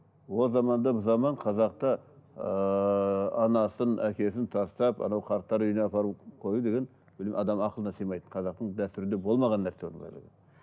ол заманда бұл заман қазақта ыыы анасын әкесін тастап анау қарттар үйіне апарып қою деген ол адамның ақылына сыймайтын қазақтың дәстүрінде болмаған нәрсе оның барлығы